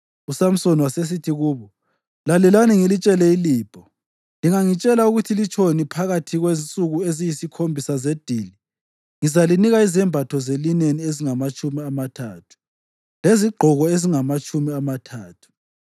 USamsoni wasesithi kubo, “Lalelani ngilitshele ilibho. Lingangitshela ukuthi litshoni phakathi kwensuku eziyisikhombisa zedili, ngizalinika izembatho zelineni ezingamatshumi amathathu lezigqoko ezingamatshumi amathathu.